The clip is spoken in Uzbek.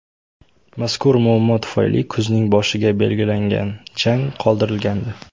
Mazkur muammo tufayli kuzning boshiga belgilangan jang qoldirilgandi.